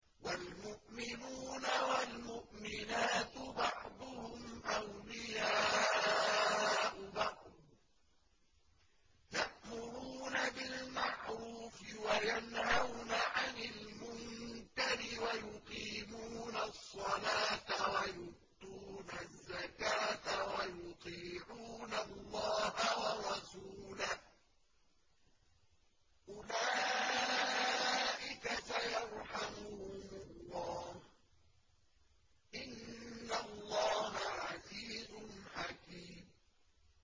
وَالْمُؤْمِنُونَ وَالْمُؤْمِنَاتُ بَعْضُهُمْ أَوْلِيَاءُ بَعْضٍ ۚ يَأْمُرُونَ بِالْمَعْرُوفِ وَيَنْهَوْنَ عَنِ الْمُنكَرِ وَيُقِيمُونَ الصَّلَاةَ وَيُؤْتُونَ الزَّكَاةَ وَيُطِيعُونَ اللَّهَ وَرَسُولَهُ ۚ أُولَٰئِكَ سَيَرْحَمُهُمُ اللَّهُ ۗ إِنَّ اللَّهَ عَزِيزٌ حَكِيمٌ